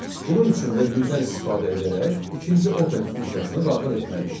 Bunun üçün vergüldən istifadə edərək ikinci open funksiyasını daxil etməliyik.